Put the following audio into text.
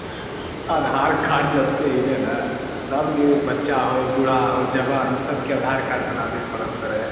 आधार card जब से एले ने सब के बच्चा होअ बूढ़ा होअ जवान होअ सबके आधार कार्ड बनावे पड़े रहे।